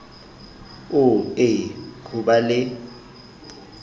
oo e ho ba le